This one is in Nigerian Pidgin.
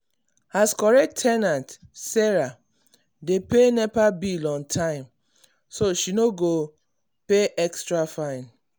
as correct ten ant sarah dey pay nepa bill on time so she no go pay extra fine.